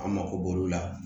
An mako b'olu la